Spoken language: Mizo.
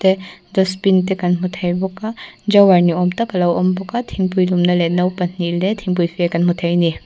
te dustbin te kan hmu thei bawk a drawer ni awm tak a lo awm bawk a thingpui lum na leh no pahnih leh thingpuife kan hmu thei a ni.